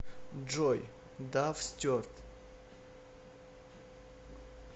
джой дав стюарт